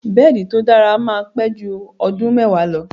Bẹ́ẹ̀di tó dára máa pẹ́ jú ọdún mẹ́wàá lọ.